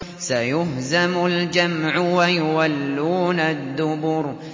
سَيُهْزَمُ الْجَمْعُ وَيُوَلُّونَ الدُّبُرَ